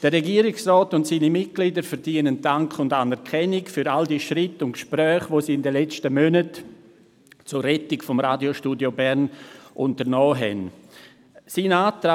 Der Regierungsrat und seine Mitglieder verdienen Dank und Anerkennung für all die Schritte und Gespräche, die sie in den letzten Monaten zur Rettung des Radiostudios Bern unternommen haben.